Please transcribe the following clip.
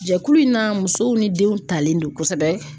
Jɛkulu in na musow ni denw talen do kosɛbɛ.